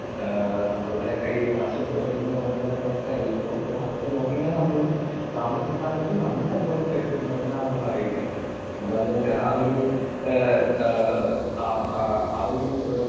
Speaker 2 ഏഹ് നമ്മുടെ കൈയിൽ കാശുണ്ടോ എന്ന് നോക്കേണ്ട ഒരു അവസ്ഥയല്ല ഇപ്പോൾ നോക്കേണ്ടത് നമ്മുടെ സാമ്പത്തിക സ്ഥാപനത്തിൽ നമ്മളുടെ അക്കൗണ്ടിൽ പൈസ ഉണ്ടോ എന്നാണ് നമ്മൾ അറിയേണ്ടത്. എന്താന്ന് വെച്ചാൽ ആ ഒരു ഏഹ് ആഹ് ആ ആ ആ ഒരു